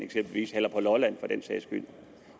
eller på lolland for den sags skyld